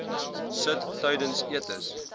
sit tydens etes